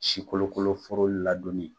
Si kolokoloforo ladonni